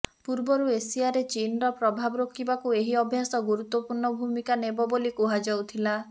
ପୂର୍ବରୁ ଏସିଆରେ ଚୀନର ପ୍ରଭାବ ରୋକିବାକୁ ଏହି ଅଭ୍ୟାସ ଗୁରୁତ୍ୱପୂର୍ଣ୍ଣ ଭୂମିକା ନେବା ବୋଲି କୁହାଯାଉଥିଲା